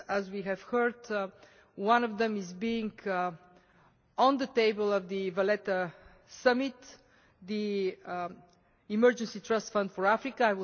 As we have heard, one of them is on the table of the Valletta Summit the Emergency Trust Fund for Africa.